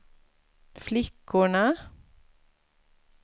flickorna